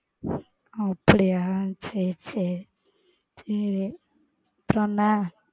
அப்பிடியா சேரி சேரி சேரி அப்பரம் என்ன?